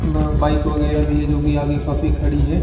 न बाइक वगैरा भी है जो कि आगे काफी खड़ी है।